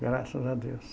Graças a Deus.